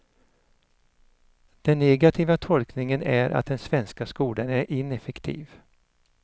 Den negativa tolkningen är att den svenska skolan är ineffektiv.